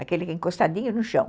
Aquele encostadinho no chão.